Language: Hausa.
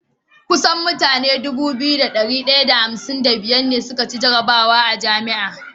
kusan mutane Dubu biyu da dari daya da hamsin da biyar ne suka ci jarabwa a jami'a